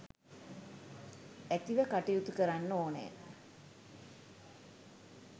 ඇතිව කටයුතු කරන්න ඕනෑ.